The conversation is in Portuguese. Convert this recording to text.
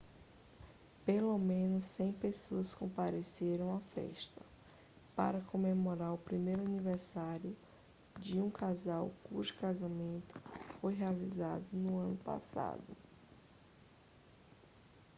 pelo menos 100 pessoas compareceram à festa para comemorar o primeiro aniversário de um casal cujo casamento foi realizado no ano passado